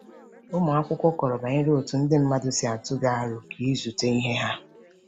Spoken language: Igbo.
Ụmụ akwụkwọ kọrọ banyere otú ndị mmadụ si atụ gị aro ka ịzụta ihe ha.